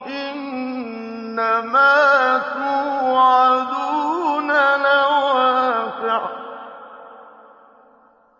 إِنَّمَا تُوعَدُونَ لَوَاقِعٌ